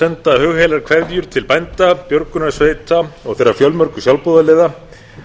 senda hugheilar kveðjur til bænda björgunarsveita og þeirra fjölmörgu sjálfboðaliða